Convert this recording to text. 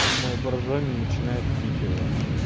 мой боржоми начинает пить его